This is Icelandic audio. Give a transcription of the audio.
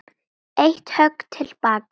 Eitt högg til baka.